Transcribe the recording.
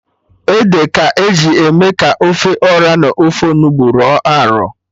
Ede ka eji eme ka ofe Ọra n'ofe Onugbu rọ arọ